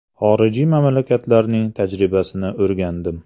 Xorijiy mamlakatlarining tajribasini o‘rgandim.